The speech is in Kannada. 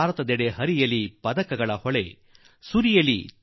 ಚಿನ್ನ ಬೆಳ್ಳಿ ಕಂಚಿನ ಮಳೆಗರೆಯಲಿ